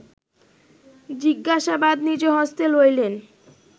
জিজ্ঞাসাবাদ নিজহস্তে লইলেন